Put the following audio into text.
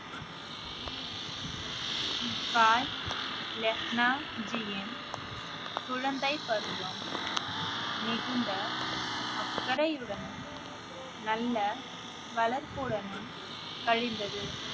பாய் லெஹனாஜியின் குழந்தை பருவம் மிகுந்த அக்கறையுடனும் நல்ல வளர்ப்புடன் கழிந்தது